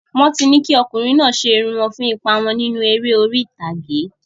Wọ́n ti ní kí ọkùnrin náà ṣe irun wọn fún ipa wọn nínú eré orí ìtàgé.